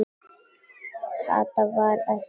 Kata varð eftir uppi.